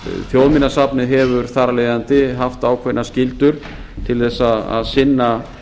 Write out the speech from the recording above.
þjóðminjasafnið hefur þar af leiðandi haft ákveðnar skyldur til að sinna